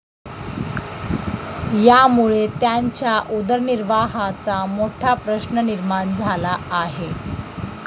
यामुळे त्यांच्या उदरनिर्वाहाचा मोठा प्रश्न निर्माण झाला आहे.